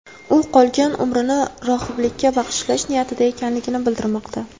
U qolgan umrini rohiblikka bag‘ishlash niyatida ekanligi bildirilmoqda.